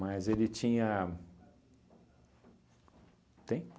ele tinha... Tem?